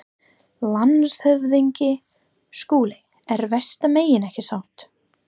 LANDSHÖFÐINGI: Skúli er vestan megin, ekki satt?